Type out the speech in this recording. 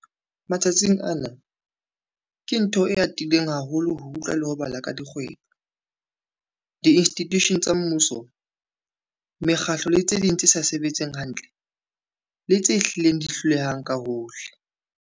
Matsatsing ana, ke ntho e atileng haholo ho utlwa le ho bala ka dikgwebo, diinstitushene tsa mmuso, mekgatlo le tse ding tse sa sebetseng hantle, le tse hlileng di hlolehang ka hohle.